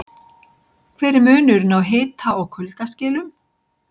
Hver er munurinn á hita- og kuldaskilum?